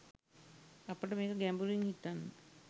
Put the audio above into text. අපට මේක ගැඹුරින් හිතන්න